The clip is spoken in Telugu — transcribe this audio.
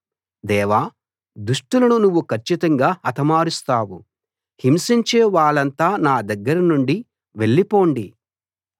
దేవా దుష్టులను నువ్వు కచ్చితంగా హతమారుస్తావు హింసించే వాళ్ళంతా నా దగ్గర నుండి వెళ్ళిపొండి